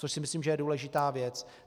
Což si myslím, že je důležitá věc.